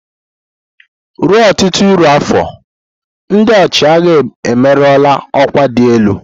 Ruo ọtụtụ iri afọ, ndị ọchịagha ewerela ọkwa dị elu.